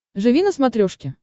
живи на смотрешке